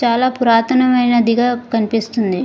చాలా పురాతనమైనది గ కనిపిస్తుంది.